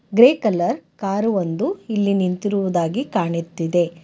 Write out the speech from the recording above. Grey colour car ಒಂದು ಇಲ್ಲಿ ನಿಂತಿರುವುದಾಗಿ ಕಾಣಿತ್ತಿದೆ.